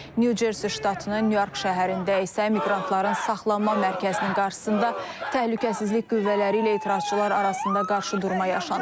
New Jersey ştatının New York şəhərində isə miqrantların saxlanma mərkəzinin qarşısında təhlükəsizlik qüvvələri ilə etirazçılar arasında qarşıdurma yaşanıb.